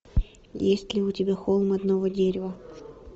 есть ли у тебя холм одного дерева